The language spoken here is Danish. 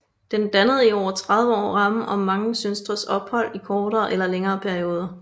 Den dannede i over 30 år rammen om mange søstres ophold i kortere eller længere perioder